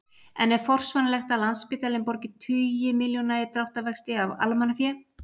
En er forsvaranlegt að Landspítalinn borgi tugi milljóna í dráttarvexti af almannafé?